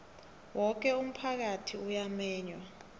woke umphakathi uyamenywa